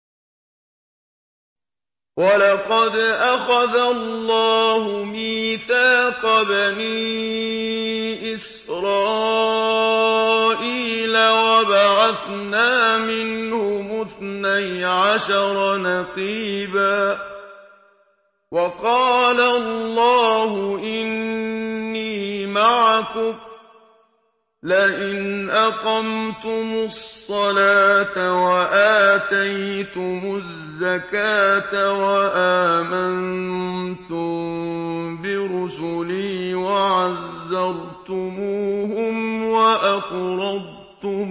۞ وَلَقَدْ أَخَذَ اللَّهُ مِيثَاقَ بَنِي إِسْرَائِيلَ وَبَعَثْنَا مِنْهُمُ اثْنَيْ عَشَرَ نَقِيبًا ۖ وَقَالَ اللَّهُ إِنِّي مَعَكُمْ ۖ لَئِنْ أَقَمْتُمُ الصَّلَاةَ وَآتَيْتُمُ الزَّكَاةَ وَآمَنتُم بِرُسُلِي وَعَزَّرْتُمُوهُمْ وَأَقْرَضْتُمُ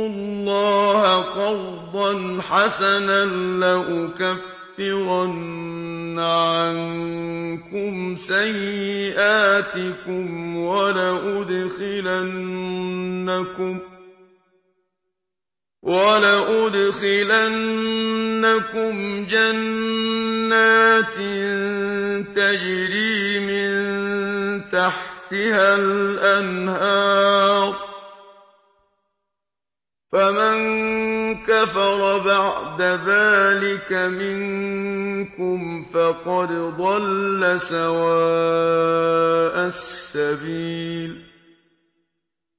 اللَّهَ قَرْضًا حَسَنًا لَّأُكَفِّرَنَّ عَنكُمْ سَيِّئَاتِكُمْ وَلَأُدْخِلَنَّكُمْ جَنَّاتٍ تَجْرِي مِن تَحْتِهَا الْأَنْهَارُ ۚ فَمَن كَفَرَ بَعْدَ ذَٰلِكَ مِنكُمْ فَقَدْ ضَلَّ سَوَاءَ السَّبِيلِ